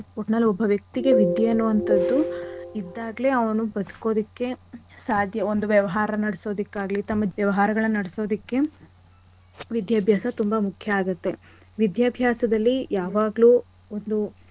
ಒಟ್ನಲ್ ಒಬ್ಬ ವ್ಯಕ್ತಿಗೆ ವಿದ್ಯೆ ಅನ್ನುವಂಥದ್ದು ಇದ್ದಾಗ್ಲೆ ಅವ್ನು ಬದ್ಕೋದಕ್ಕೆ ಸಾಧ್ಯ. ಒಂದ್ ವ್ಯವಹಾರ ನಡೆಸೋದಕ್ಕಾಗ್ಲಿ ತಮ್ಮ ವ್ಯವಹಾರಗಳ ನಡೆಸೋದಕ್ಕೆ ವಿದ್ಯಾಭ್ಯಾಸ ತುಂಬಾ ಮುಖ್ಯ ಆಗತ್ತೆ. ವಿದ್ಯಾಭ್ಯಾಸದಲ್ಲಿ ಯಾವಾಗ್ಲು ಒಂದು.